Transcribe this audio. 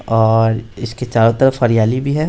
और इसके चारों तरफ हरियाली भी है ।